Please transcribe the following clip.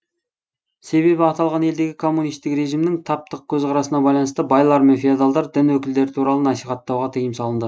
себебі аталған елдегі коммунистік режимнің таптық көзқарасына байланысты байлар мен феодалдар дін өкілдері туралы насихаттауға тыйым салынды